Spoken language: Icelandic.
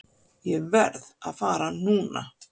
Ég verð að fara núna!